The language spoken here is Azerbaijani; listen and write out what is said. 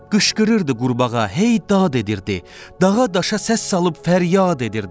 Qışqırırdı qurbağa, hey dad edirdi, dağa daşa səs salıb fəryad edirdi.